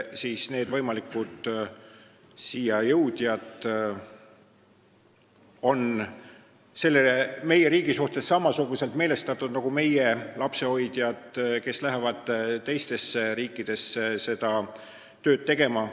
Üldiselt need võimalikud siia tulijad on meie riigi suhtes samasuguselt meelestatud nagu meie lapsehoidjad, kes lähevad teistesse riikidesse seda tööd tegema.